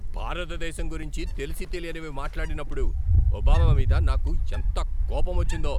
భారతదేశం గురించి తెలిసీ తెలియనివి మాట్లాడినప్పుడు ఒబామా మీద నాకు ఎంత కోపమొచ్చిందో.